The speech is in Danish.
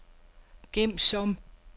gem som